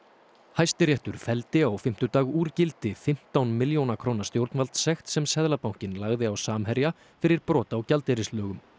Hæstiréttur felldi á fimmtudag úr gildi fimmtán milljóna króna stjórnvaldssekt sem Seðlabankinn lagði á Samherja fyrir brot á gjaldeyrislögum